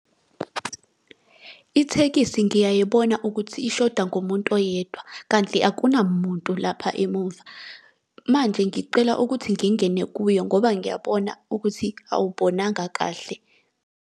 Ithekisi ngiyayibona ukuthi ishoda ngomuntu oyedwa, kanti akunamuntu lapha emuva. Manje ngiqela ukuthi ngingene kuyo ngoba ngiyabona ukuthi awubonanga kahle.